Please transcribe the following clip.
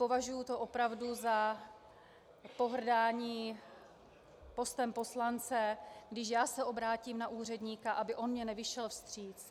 Považuji to opravdu za pohrdání postem poslance, když já se obrátím na úředníka, aby on mi nevyšel vstříc.